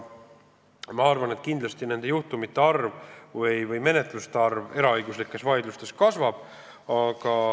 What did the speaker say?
Ma arvan, et kindlasti nende juhtumite või menetluste arv eraõiguslikes vaidlustes kasvab.